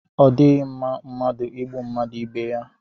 Ọ dịghị mma mmadụ ịgbụ mmadụ ibe yá